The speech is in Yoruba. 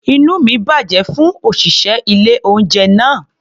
Inú mi bàjẹ́ fún òṣìṣẹ́ ilé-oúnjẹ náà.